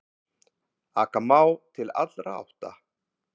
Aka má til allra átta.